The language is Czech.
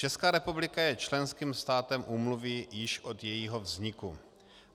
Česká republika je členským státem úmluvy už od jejího vzniku.